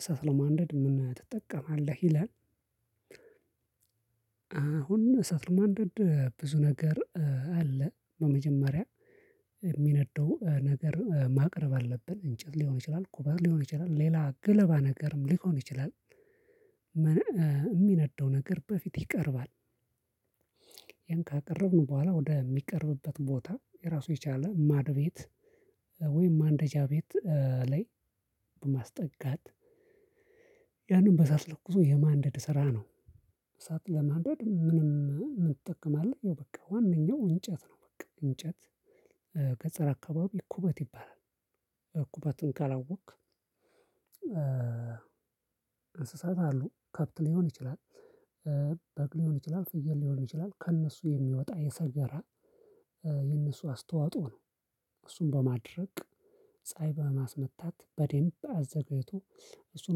እሳት ለማንደድ ምን ትጠቀማለህ ይላል? አሁን እሳት ለማንደድ ብዙ ነገር አለ በመጀመሪያ የሚነደው ነገር ማቅረብ አለብን እንጨት ሊሆን ይችላል ኩበት ሊሆን ይችላል ሌላ ገለባ ነገርም ሊሆን ይችላል። የሚነደው ነገር በፊት ይቀርባል። ያን ካቀረብነው በኋላ ወደሚቀርብበት ቦታ ራሱ የቻለ ማድ ቤት ወይም ማንደጃ ቤት ላይ በማስጠጋት ያንን በእሳት ለኩሶ የማንደድ ስራ ነው። እሳት ለማንደድ ምንም እንጠቀማለን ይኸው በቃ ዋነኛው እንጨት ነው። በቃ እንጨት ከፀረ አካባቢ እኩበት ይባላል። እኩበትን ካላወቅክ። እንስሳት አሉ ከብት ሊሆን ይችላል በቅሎ ሊሆን ይችላል ፍየል ሊሆን ይችላል ከእነሱ የሚወጣ የሰገራ የእነሱ አስተዋጽኦ ነው። እሱን በማድረቅ ፀሀይ በማስመታት በደንብ አዘጋጅቶ እሱን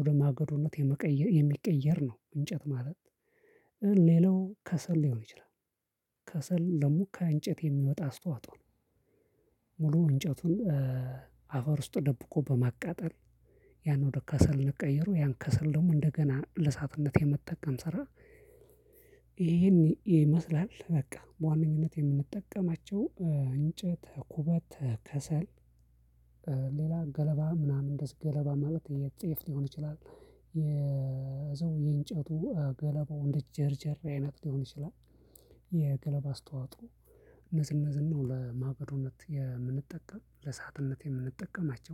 ወደ ማገዶነት የሚቀየር ነው። እንጨት ማለት ሌላው ከሰል ሊሆን ይችላል። ከሰል ለሙካ እንጨት የሚወጣ አስተዋጦው። ሙሉ እንጨቱን አፈር ውስጥ ደብቆ በማቃጠል ያን ወደ ከሰል እንቀይረው ያን ከሰል ደግሞ እንደገና ለእሳትነት የመጠቀም ስራ። ይሄን ይመስላል በቃ በዋነኝነት የምንጠቀማቸው እንጨት ኩበት ከሰል። ሌላ ገለባ ምናምን እንደዚህ ገለባ ማለት የጤፍ ሊሆን ይችላል። የዘው የእንጨቱ ገለባው እንደ ጀርጀር አይነት ሊሆን ይችላል። የገለባ አስተዋጽኦ እነዚህ እነዚህን ነው ለማገዶነት የምንጠቀም ለሳትነት የምንጠቀማቸው